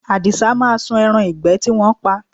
Àdìsá máa sun ẹran ìgbẹ́ tí wọ́n pa